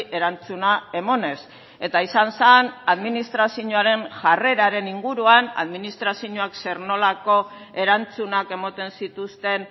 erantzuna emanez eta izan zen administrazioaren jarreraren inguruan administrazioak zer nolako erantzunak ematen zituzten